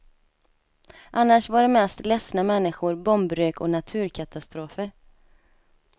Annars var det mest ledsna människor, bombrök och naturkatastrofer.